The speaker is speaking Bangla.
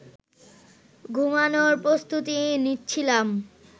ঘুমানোর প্রস্তুতি নিচ্ছিলাম